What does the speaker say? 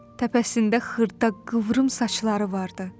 Təpəsində xırda, qıvrım saçları vardı.